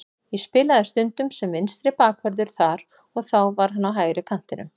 Ég spilaði stundum sem vinstri bakvörður þar og þá var hann á hægri kantinum.